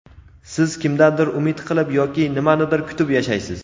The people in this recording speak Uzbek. siz kimdandir umid qilib yoki nimanidir kutib yashaysiz.